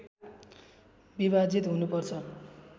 विभाजित हुनुपर्छ